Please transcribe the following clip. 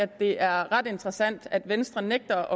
at det er ret interessant at venstre nægter